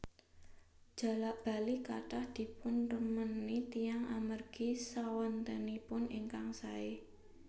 Jalak bali kathah dipunremeni tiyang amargi swantenipun ingkang saé